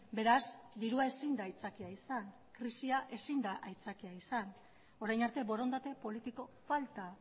beraz dirua ezin da aitzakia izan krisia ezin da aitzakia izan orain arte borondate politiko falta